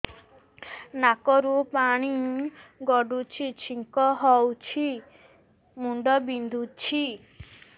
ନାକରୁ ପାଣି ଗଡୁଛି ଛିଙ୍କ ହଉଚି ମୁଣ୍ଡ ବିନ୍ଧୁଛି